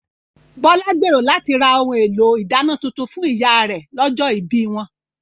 Bọ́lá gbèrò láti ra ohun èlò ìdáná tuntun fún ìyá rè lọ́jọ́ ibí wọn